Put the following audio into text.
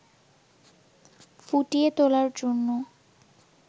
ফুটিয়ে তোলার জন্য